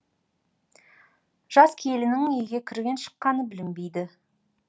жас келіннің үйге кірген шыққаны білінбейді